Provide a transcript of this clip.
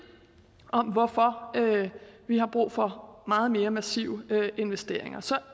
om hvorfor vi har brug for meget mere massive investeringer så